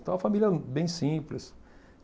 Então, uma família bem simples.